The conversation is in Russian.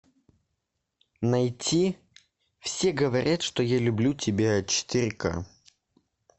найти все говорят что я люблю тебя четыре ка